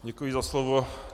Děkuji za slovo.